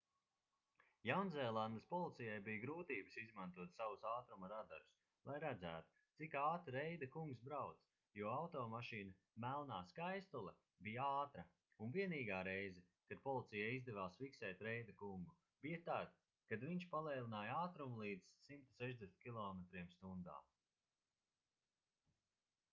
jaunzēlandes policijai bija grūtības izmantot savus ātruma radarus lai redzētu cik ātri reida kungs brauc jo automašīna melnā skaistule bija ātra un vienīgā reize kad policijai izdevās fiksēt reida kungu bija tad kad viņš palēnināja ātrumu līdz 160 km/h